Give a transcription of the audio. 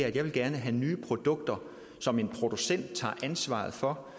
at jeg gerne vil have nye produkter som en producent tager ansvaret for